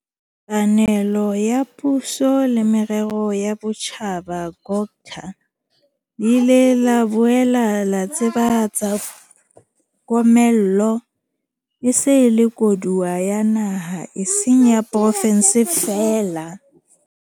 panelo ya Puso le Merero ya Botjhaba, COGTA, le ile la boela la tsebahatsa komello e se e le koduwa ya naha e seng ya porofenseng feela.